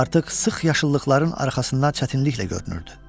Artıq sıx yaşıllıqların arxasından çətinliklə görünürdü.